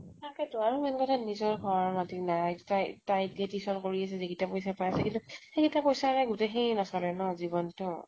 তাকেতো । সেনেকুৱা এটা, নিজৰ ঘৰ মাটি নাই । তাই , তাই এতিয়া tuition কৰি আছে, যিকেইটা পইছা পাই আছে । কিন্তু সেইকেইতা পইছা ৰে সেই নছলে ন, গোটেই জীৱ্নতো